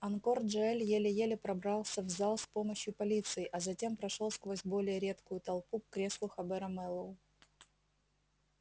анкор джаэль еле-еле пробрался в зал с помощью полиции а затем прошёл сквозь более редкую толпу к креслу хобера мэллоу